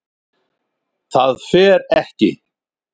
ÞAÐ FER EKKI